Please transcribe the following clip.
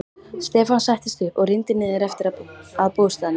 Stefán settist upp og rýndi niður eftir að bústaðnum.